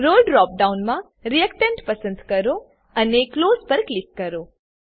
રોલે drop ડાઉનમાં reactant પસંદ કરો અને ક્લોઝ પર ક્લિક કરો